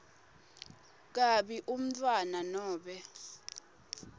kabi umntfwana nobe